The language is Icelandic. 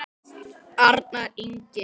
Arnar Ingi.